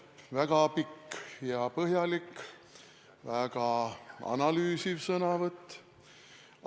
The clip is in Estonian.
No väga pikk ja põhjalik, väga analüüsiv sõnavõtt.